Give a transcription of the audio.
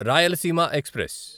Rayalaseema express